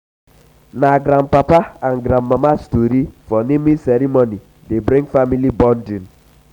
na grandpapa and grandmama tori for naming ceremony dey bring family bonding.